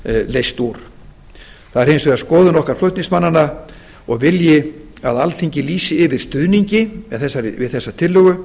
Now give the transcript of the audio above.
leyst úr það er hins vegar skoðun okkar flutningsmannanna og vilji að alþingi lýsi yfir stuðningi við þessa tillögu